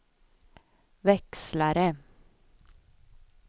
växlare